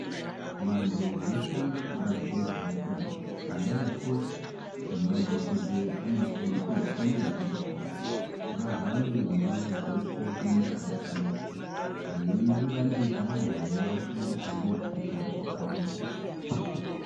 Vantu anoshanda kubazi rezveutano anamukoti nemadhokodheya anokurudzirwa kwemene kuti vahambe ndau dzeshe miganga yeshe veiunganidza vantu veivafundisa ngezveutano hwakati mhoryo.